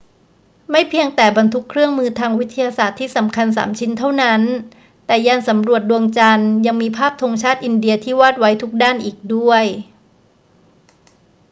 ไม่เพียงแต่บรรทุกเครื่องมือทางวิทยาศาสตร์ที่สำคัญสามชิ้นเท่านั้น แต่ยานสำรวจดวงจันทร์ยังมีภาพธงชาติอินเดียที่วาดไว้ทุกด้านอีกด้วย